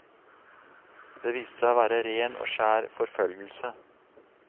Det viste seg å være ren og skjær forfølgelse.